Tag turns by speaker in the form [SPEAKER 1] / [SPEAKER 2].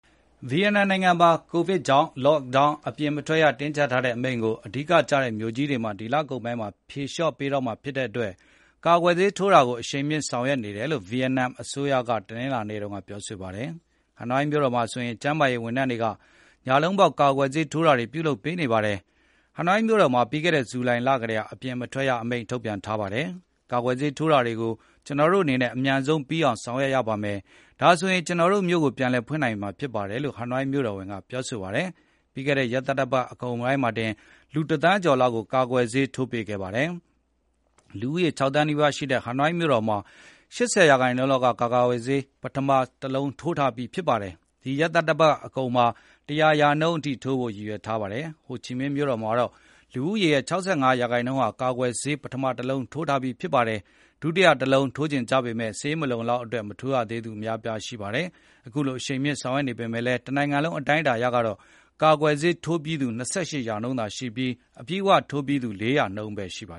[SPEAKER 1] ဗီယက်နမ်နိုင်ငံမှာ ကိုဗစ်ကြောင့် Lock down အပြင်မထွက်ရတင်းကြပ်ထားတဲ့အမိန့်ကို အဓိကကျတဲ့မြို့ကြီးတွေမှာ ဒီလကုန်ပိုင်း ဖြေလျှော့ပေးတော့မှာ ဖြစ်တဲ့ အတွက် ကာကွယ်ဆေးထိုးတာကို အရှိန်မြှင့်ဆောင်ရွက်နေတယ်လို့ ဗီယက်နမ်အစိုးရက တနင်္လာနေ့တုန်းကပြောဆိုခဲ့ပါတယ်။ ဟနွိုင်းမြို့တော်မှာဆိုရင် ကျန်းမာရေးဝန်ထမ်းတွေက ညလုံးပေါက်ကာကွယ်ဆေးထိုးတာတွေကိုပြုလုပ်ပေးနေပါတယ်။ ဟနွိုင်း မြို့တော်မှာ ပြီးခဲ့တဲ့ ဇူလိုင်လကတည်းက အပြင်မထွက်ရအမိန့်ထုတ်ပြန်ထားခဲ့တာဖြစ်ပါတယ်။ ကာကွယ်ဆေးထိုးတာတွေကို ကျနော်တို့အနေနဲ့ အမြန်ဆုံးပြီးအောင်ဆောင်ရွက်ရပါမယ်။ ဒါဆိုရင် ကျနော်တို့ မြို့တော်ကိုပြန်ဖွင့်လို့ရမှာပါ လို့ ဟနွိုင်း မြို့တော်ဝန် ကပြောဆိုပါတယ်။ ပြီးခဲ့တဲ့ ရက်သတ္တပတ်အကုန်ပိုင်းမှာတင် လူ ၁ သန်းကျော်လောက်ကို ကာကွယ်ဆေးထိုးပေးခဲ့ပါတယ်။ လူဦးရေ ၆ သန်းနီးပါးရှိတဲ့ ဟနွိုင်းမြို့တော်မှာ ၈၀ ရာနှုန်းလောက်က ကာကွယ်ဆေး ပထမ တလုံး ထိုးထားပြီးပါပြီ။ ဒီရက်သတ္တပတ်အကုန်မှာ ၁၀၀ ရာနှုန်းထိုးပြီးဖို့ ရည်ရွယ်ထားပါတယ်။ ဟိုချီမင်းမြို့တော်မှာတော့ လူဦးရေရဲ့ ၉၅ ရာနှုန်းဟာ ကာကွယ်ဆေးပထမ တလုံးထိုးထားပြီးဖြစ်ပါတယ်။ ဒုတိယ တလုံးထိုးချင်ကြပေမယ့် ဆေးမလုံလောက်တဲ့အတွက် မထိုးရသေးသူတွေအများအပြားရှိနေပါတယ်။ အခုလို အရှိန်မြှင့်ဆောင်ရွက်နေပေမယ့်လည်း တနိုင်ငံလုံးအတိုင်းအတာအရကတော့ ကာကွယ်ဆေးထိုးပြီးသူ ၂၈ ရာနှုန်းသာရှိပြီး အပြည့်အဝထိုးပြီးသူ ၄ ရာနှုန်းဘဲရှိပါ